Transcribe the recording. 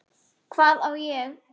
Hvað á ég?